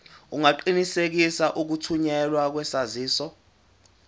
ungaqinisekisa ukuthunyelwa kwesaziso